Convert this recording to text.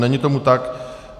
Není tomu tak.